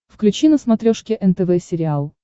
включи на смотрешке нтв сериал